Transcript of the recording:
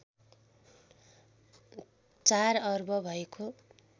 ४ अर्ब भएको